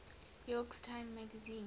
york times magazine